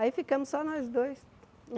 Aí ficamos só nós dois.